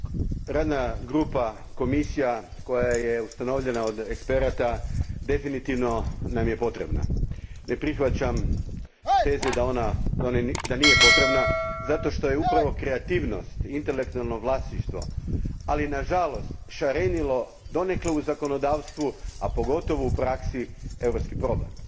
Gospodine predsjedniče, radna grupa, komisija, koja je ustanovljena od eksperata definitivno nam je potrebna. Ne prihvaćam teze da nije potrebna, zato što je upravo kreativnost, intelektualno vlasništvo, ali nažalost šarenilo donekle u zakonodavstvu, a pogotovo u praksi je europski problem.